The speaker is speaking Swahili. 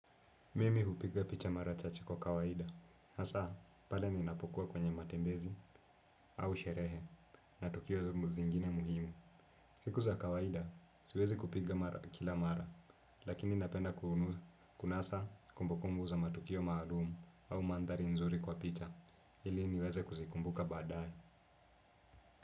Mimi hupiga picha mara chache kwa kawaida. Hasa, pale ninapokuwa kwenye matembezi au sherehe na tukio zingine muhimu. Siku za kawaida, siwezi kupiga kila mara, lakini napenda kunasa kumbukumbu za matukio maalumu au mandhari nzuri kwa picha. Ili niweze kuzikumbuka baadaye.